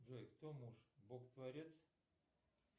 джой кто муж бог творец